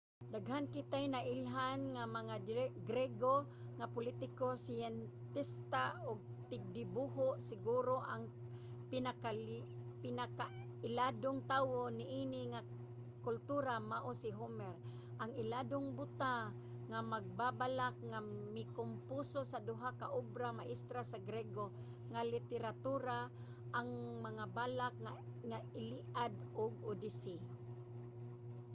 daghan kitay nailhan nga mga griego nga politiko siyentista ug tigdibuho. siguro ang pinakailadong tawo niini nga kultura mao si homer ang iladong buta nga magbabalak nga mikomposo sa duha ka obra maestra sa griego nga literatura: ang mga balak nga iliad ug odyssey